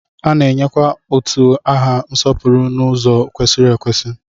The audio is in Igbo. A na-enyekwa utu aha nsọpụrụ n'ụzọ kwesịrị ekwesị.